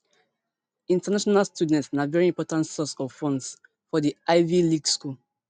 international students na veri important source of funds for di ivy league school